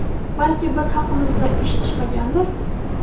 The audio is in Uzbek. Balki biz haqimizda eshitishmagandir.